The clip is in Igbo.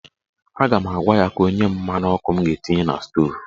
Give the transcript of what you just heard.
A ga m agwa ya ka o nye m mmanụ ọkụ m ga-etinye na stoovu.